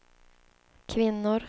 kvinnor